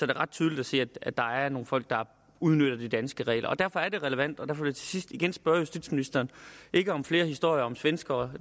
ret tydeligt se at der er nogle folk der udnytter de danske regler og derfor er det relevant og derfor sidst igen spørge justitsministeren ikke om flere historier om svenskere